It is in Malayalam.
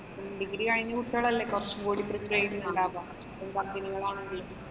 degree കഴിഞ്ഞ കുട്ടികളല്ലേ കുറച്ചുകൂടി prepared ന് ഉണ്ടാവുക. company കളാണെങ്കിലും.